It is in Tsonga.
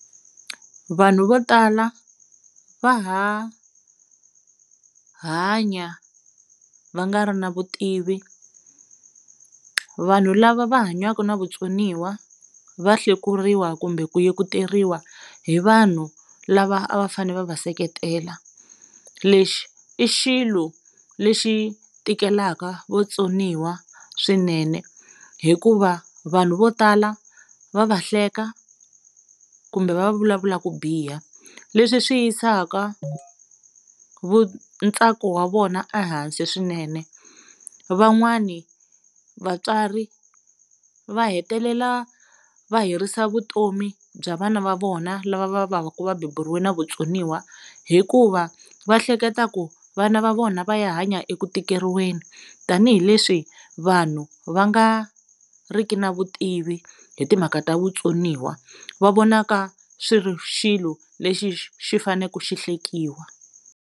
Vanhu vo tala va ha hanya va nga ri na vutivi, vanhu lava va hanyaka na vutsoniwa va hlekuriwa kumbe ku yekuteriwa hi vanhu lava a va fane va va seketela lexi i xilo lexi tikelaka vatsoniwa swinene hikuva vanhu vo tala va va hleka kumbe va vulavula ku biha leswi swi yisaka vu ntsako wa vona ehansi swinene van'wani vatswari va hetelela va herisa vutomi bya vana va vona lava va va ku va beburiwe na vutsoniwa hikuva va hleketa ku vana va vona va ya hanya eku tikeriweni tanihileswi vanhu va nga riki na vutivi hi timhaka ta vutsoniwa va vonaka swi ri xilo lexi xi xi fane ku xi hlekiwa.